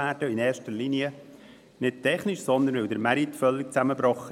Dies in erster Linie nicht aus technischen Gründen, sondern weil der Markt völlig zusammenbrach.